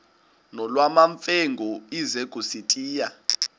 nolwamamfengu ize kusitiya